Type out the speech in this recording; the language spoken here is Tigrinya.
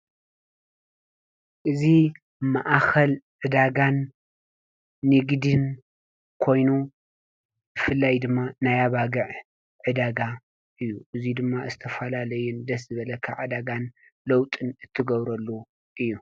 እዚ ማእኸል ዕዳጋን ንግድን ኮይኑ ብፍላይ ድማ ናይ ኣባግዕ ዕዳጋ እዩ ።እዚ ድማ ዝተፈላለዩን ደስ ዝብለካ ዕዳጋን ለውጥን ትገብረሉን እዩ።